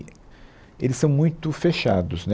Eles são muito fechados, né